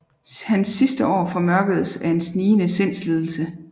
Hans sidste år formørkedes af en snigende sindslidelse